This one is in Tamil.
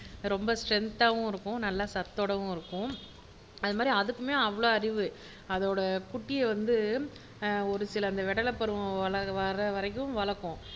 ரொம்ப ஸ்ட்ரென்தா, வும் இருக்கும் நல்ல சத்தோடவும் இருக்கும் அது மாறி அதுக்குமே அவ்வளவு அறிவு அதோட குட்டியை வந்து ஒரு சில விடலைப்பருவம் வர்ற வரைக்கும் வளர்க்கும்